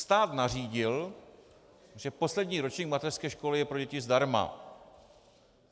Stát nařídil, že poslední ročník mateřské školy je pro děti zdarma.